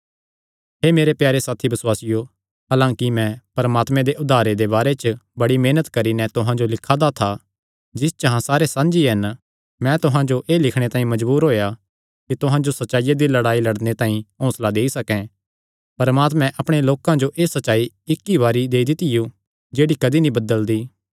हे मेरे प्यारे साथी बसुआसियो हलांकि मैं परमात्मे दे उद्धारे दे बारे च बड़ी मेहनत करी नैं तुहां जो लिखा दा था जिस च अहां सारे साझी हन मैं तुहां जो एह़ लिखणे तांई मजबूर होएया कि तुहां जो सच्चाईया दी लड़ाई लड़णे तांई हौंसला देई सकैं परमात्मैं अपणे लोकां जो एह़ सच्चाई इक्क ई बरी देई दित्तियो जेह्ड़ी कदी नीं बदलदी